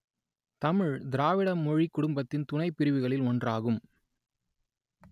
தமிழ் திராவிட மொழிக் குடும்பத்தின் துணைப் பிரிவுகளுள் ஒன்றாகும்